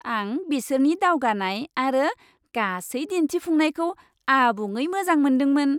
आं बिसोरनि दावगानाय आरो गासै दिन्थिफुंनायखौ आबुङै मोजां मोनदोंमोन।